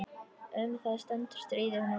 Um það stendur stríðið nú.